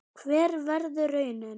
Hver verður raunin?